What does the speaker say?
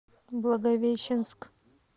благовещенск